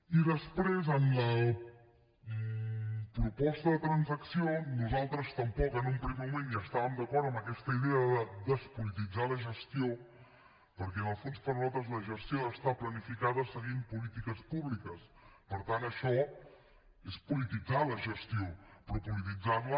i després en la proposta de transacció nosaltres tampoc en un primer moment estàvem d’acord amb aquesta idea de despolititzar la gestió perquè en el fons per nosaltres la gestió ha d’estar planificada seguint polítiques públiques per tant això és polititzar la gestió però polititzar la